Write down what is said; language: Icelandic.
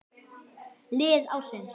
Lið ársins